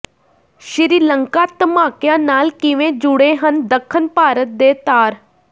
ਸ੍ਰੀ ਲੰਕਾ ਧਮਾਕਿਆਂ ਨਾਲ ਕਿਵੇਂ ਜੁੜੇ ਹਨ ਦੱਖਣ ਭਾਰਤ ਦੇ ਤਾਰ